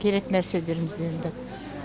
керек нәрселерімізді енді